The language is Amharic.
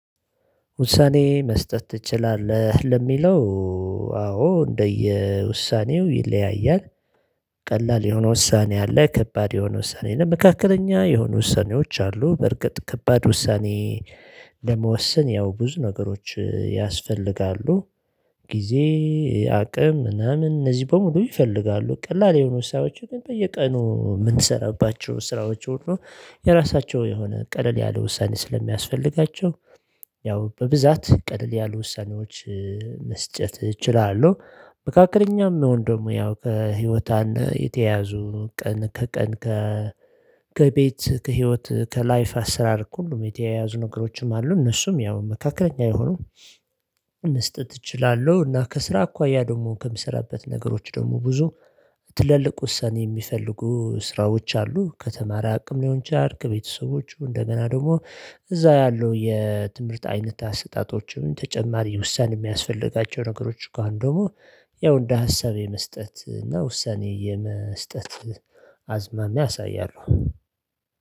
ውሳኔ መስጠት ትችላለህ? ለሚለው አዎ እንደየ ውሳኔው ይለያያል። ቀላል የሆነ ውሳኔ አለ ከባድ የሆነ ውሳኔ አለ መካከለኛ የሆነ ውሳኔዎች አሉ። በርግጥ ከባድ ውሳኔ። ለመወሰን ያው ብዙ ነገሮች ያስፈልጋሉ። ጊዜ አቅም ምናምን እነዚህ በሙሉ ይፈልጋሉ። ቀላል የሆኑ ስራዎችን በየቀኑ የምንሰራባቸው ስራዎች ሁሉ የራሳቸው የሆነ ቀለል ያለ ውሳኔ ስለሚያስፈልጋቸው። ያው በብዛት ቀለል ያሉ ውሳኔዎች መስጨት እችላለሁ። መካከለኛም መሆን ደግሞ ያው ከህይወት አንድ የተያዙ ቀን ከቀን ከ ከቤት ከህይወት ከላይፍ አሰራር ከሁሉም የተያያዙ ነገሮችም አሉ። እነሱም ያው መካከለኛ የሆኑ መስጠት እችላለሁ። እና ከስራ አኳያ ደግሞ ከምሰራበት ነገሮች ደግሞ ብዙ ትልልቅ ውሳኔ የሚፈልጉ ስራዎች አሉ። ከተማሪ አቅም ሊሆን ይችላል ከቤተሰቦቹ እንደገና ደግሞ እዛው ያለው የትምህርት አይነት አሰጣጦችም ተጨማሪ ውሳኔ የሚያስፈልጋቸው ነገሮች ከሆነ ደግሞ ያው እንደ ሀሳብ የመስጠት እና ውሳኔ የመስጠት አዝማሚያ ያሳያሉ